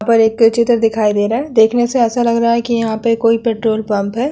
यहां पर एक चित्र दिखाई दे रहा है। देखने से ऐसा लग रहा है कि यहाँ पे कोई पेट्रोल पंप है।